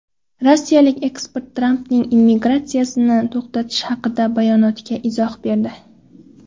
Rossiyalik ekspert Trampning immigratsiyani to‘xtatish haqidagi bayonotiga izoh berdi.